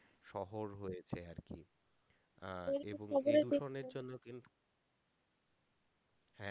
শহর হয়েছে আর কি আহ জন্য কিন্তু